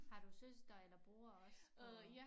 Har du søster eller bror også på